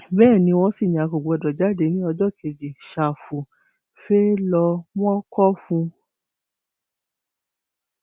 bẹẹ ni wọn sì ní a kò gbọdọ jáde ní ọjọ kejì ṣàfù fee ló mọ kó fún un